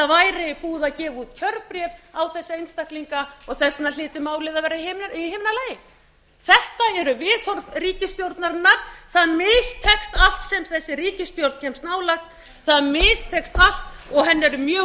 væri búið að gefa út kjörbréf á þessa einstaklinga þess vegna hlyti málið að vera í himnalagi þetta eru viðhorf ríkisstjórnarinnar það mistekst allt sem þessi ríkisstjórn kemst nálægt það mistekst allt og henni eru mjög